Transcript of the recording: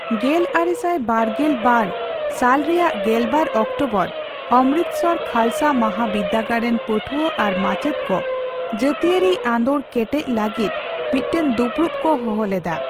ᱜᱮᱞᱟᱨᱮᱥᱟᱭ ᱵᱟᱨᱜᱮᱞ ᱵᱟᱨ ᱥᱟᱞ ᱨᱮᱭᱟᱜ ᱜᱮᱞᱵᱟᱨ ᱚᱠᱴᱚᱵᱚᱨ ᱚᱢᱨᱤᱛᱥᱚᱨ ᱠᱷᱟᱞᱥᱟ ᱢᱟᱦᱟᱵᱤᱨᱫᱟᱹᱜᱟᱲ ᱨᱮᱱ ᱯᱟᱹᱴᱷᱩᱣᱟᱹ ᱟᱨ ᱢᱟᱪᱮᱫ ᱠᱚ ᱡᱟᱹᱛᱤᱭᱟᱹᱨᱤ ᱟᱱᱫᱳᱲ ᱠᱮᱴᱮᱡ ᱞᱟᱹᱜᱤᱚᱫ ᱢᱤᱫᱴᱟᱝ ᱫᱩᱯᱲᱩᱵ ᱠᱚ ᱦᱚᱦᱚ ᱞᱮᱫᱟ ᱾